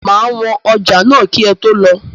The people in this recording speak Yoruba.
Máa wọn ọjà náà kì ẹ tó lọ